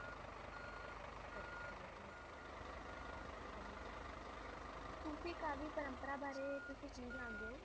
ਸੂਫ਼ੀ ਕਾਵਿ ਪਰੰਪਰਾ ਬਾਰੇ ਤੁਸੀਂ ਕੀ ਜਾਣਦੇ ਹੋ?